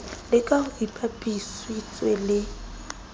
la ka ho ipapisitswe le